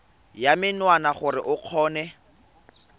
ya menwana gore o kgone